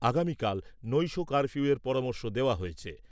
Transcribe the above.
আগামীকাল নৈশ কার্ফিউয়ের পরামর্শ দেওয়া হয়েছে।